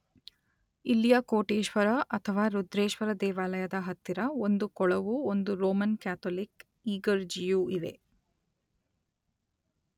ಇಲ್ಲಿಯ ಕೋಟೇಶ್ವರ ಅಥವಾ ರುದ್ರೇಶ್ವರ ದೇವಾಲಯದ ಹತ್ತಿರ ಒಂದು ಕೊಳವೂ ಒಂದು ರೋಮನ್ ಕ್ಯಾಥೋಲಿಕ್ ಇಗರ್ಜಿಯೂ ಇವೆ.